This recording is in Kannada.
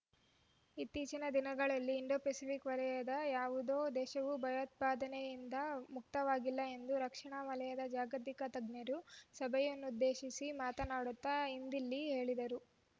ಇತ್ತೀಚಿನ ದಿನಗಳಲ್ಲಿ ಇಂಡೊಪೆಸಿಫಿಕ್ ವಲಯದ ಯಾವೊದೋ ದೇಶವೂ ಭಯೋತ್ಪಾದಕತೆಯಿಂದ ಮುಕ್ತವಾಗಿಲ್ಲ ಎಂದವರು ರಕ್ಷಣಾ ವಲಯದ ಜಾಗತಿಕ ತಜ್ಞರ ಸಭೆಯನ್ನುದ್ದೇಶಿಸಿ ಮಾತನಾಡುತ್ತಾ ಇಂದಿಲ್ಲಿ ಹೇಳಿದ್ದಾರೆ